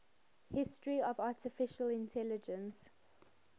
history of artificial intelligence